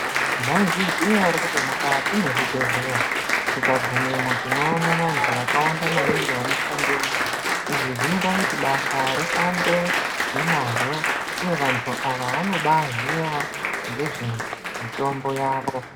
Mwaizviziya ere kuti mukati mwezvibhedhlera, tikagumemwo tinoona vantu vakawanda maningi vanoshandemwo, izvi zvinoita kuti basa rifambe nemazvo uye vantu ava vanobaaziya ngezvemitombo yavo.